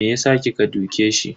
Me yasa kika duke shi?